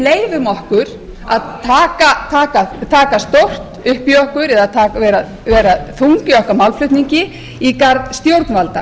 leyfum okkur að taka stórt upp í okkur eða vera þung í okkar málflutningi í garð stjórnvalda